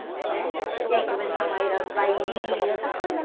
Né? E aí começamos a ir aos bailinhos, essas coisas.